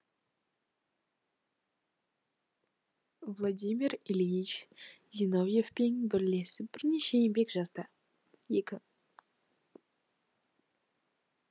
владимир ильич зиновьевпен бірлесіп бірнеше еңбек жазды екі